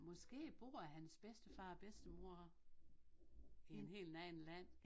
Måske bor hans bedstefar og bedstemor i en helt anden land